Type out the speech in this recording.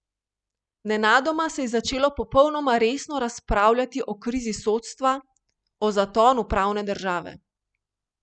Nenadoma se je začelo popolnoma resno razpravljati o krizi sodstva, o zatonu pravne države.